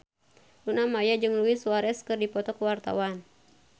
Luna Maya jeung Luis Suarez keur dipoto ku wartawan